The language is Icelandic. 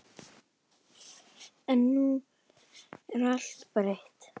En nú er allt breytt.